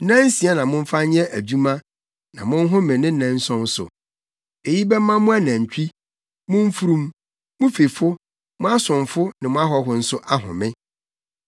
“Nnansia na momfa nyɛ adwuma na monhome ne nnanson so. Eyi bɛma mo anantwi, mo mfurum, mo fifo, mo asomfo ne mo ahɔho nso ahome.